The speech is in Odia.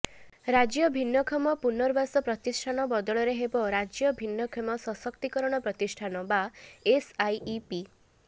ରାଜ୍ୟ ଭିନ୍ନକ୍ଷମ ପୁନର୍ବାସ ପ୍ରତିଷ୍ଠାନ ବଦଳରେ ହେବ ରାଜ୍ୟ ଭିନ୍ନକ୍ଷମ ସଶକ୍ତୀକରଣ ପ୍ରତିଷ୍ଠାନ ବା ଏସ୍ଆଇଇପି